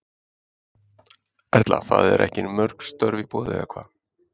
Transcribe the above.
Erla: Það eru ekki mörg störf í boði eða hvað?